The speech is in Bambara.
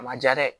A ma ja dɛ